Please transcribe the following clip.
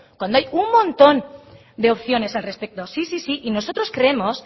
cuando hay un montón de opciones al respecto sí sí sí y nosotros creemos